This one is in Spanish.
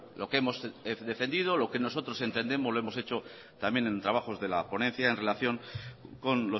lo que hemos defendido lo que nosotros entendemos lo hemos hecho también en trabajos de la ponencia en relación con